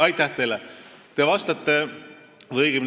Aitäh teile!